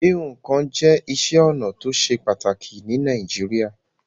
Híhún kan je isé onà to se pàtàkì ni Naijiria